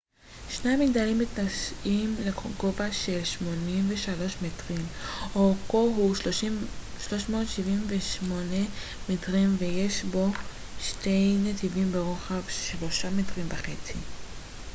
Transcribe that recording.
שני המגדלים מתנשאים לגובה של 83 מטרים אורכו הוא 378 מטרים ויש בו שני נתיבים ברוחב שלושה מטרים וחצי